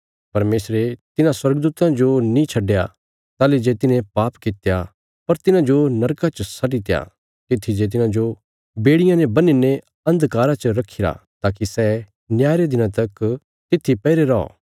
परमेशरे तिन्हां स्वर्गदूतां जो नीं छडया ताहली जे तिन्हें पाप कित्या पर तिन्हांजो नरका च सटीत्या तित्थी जे तिन्हांजो बेड़ियां ने बन्हीने अन्धकारा च रखीरा ताकि सै न्याय रे दिना तक तित्थी पैईरे रौ